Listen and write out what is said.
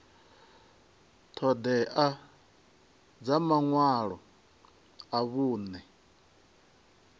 ṱhoḓea dza maṅwalo a vhuṅe